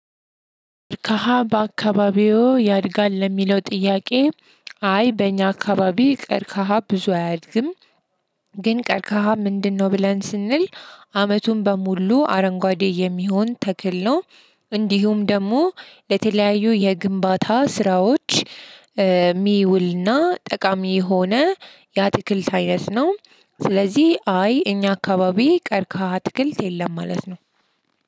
ከሀ በአካባቢዎ ያድጋል ለሚለው ጥያቄ? አይ በእኛ አካባቢ ቀርከሃ ብዙ አያድግም። ግን ቀርከሃ ምንድነው? ብለን ስንል አመቱን በሙሉ አረንጓዴ የሚሆን ተክል ነው። እንዲሁም ደግሞ ለተለያዩ የግንባታ ስራዎች። ሚውልና ጠቃሚ የሆነ የአትክልት አይነት ነው። ስለዚህ አይ እኛ አካባቢ ቀርከሃ አትክልት የለም ማለት ነው።